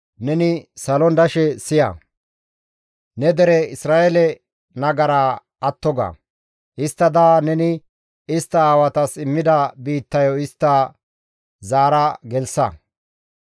neni salon dashe siya; ne dere Isra7eele nagaraa atto ga; histtada neni istta aawatas immida biittayo istta zaara gelththa.